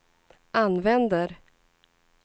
använder